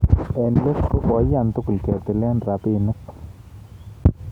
Eng let ko koiyan tugul ketil rabinik